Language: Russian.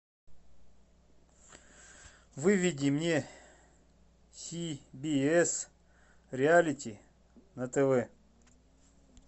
выведи мне си би эс реалити на тв